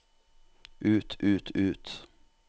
ut ut ut